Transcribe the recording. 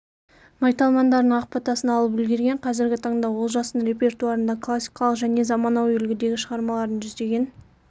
майталмандарының ақ батасын алып үлгерген қазіргі таңда олжастың репертуарында классикалық және заманауи үлгідегі шығармалардың жүздеген